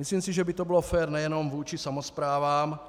Myslím si, že by to bylo fér nejenom vůči samosprávám,